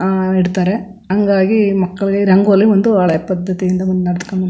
ಅಹ್ ಇಡ್ತಾರೆ ಹಂಗಾಗಿ ಮಕ್ಕಳಿಗೆ ರಂಗೋಲಿ ಒಂದು ಹಳೆ ಪದ್ಧತಿಯಿಂದ ಮುನ್ನೆಡೆಸ್ಕೊಂಡು --